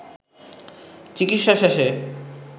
চিকিৎসা শেষে